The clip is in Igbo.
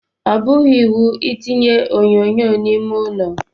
Ọ bụghị iwu I tinye onyonyo n'ime ụlọ.